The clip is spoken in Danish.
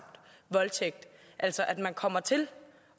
voldtægt altså at man kommer til